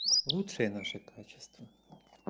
лучшие наши качества